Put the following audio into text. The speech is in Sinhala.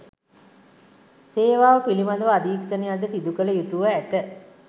සේවාව පිළිබඳව අධීක්ෂණයක්ද සිදුකළ යුතුව ඇත